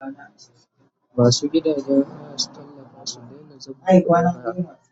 Masu gidajen haya su tallafa su daina zabga kudin haya!